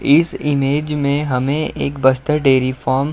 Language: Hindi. इस इमेज में हमें एक बस्तर डेयरी फॉर्म --